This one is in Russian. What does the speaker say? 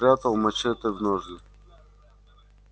спрятал мачете в ножны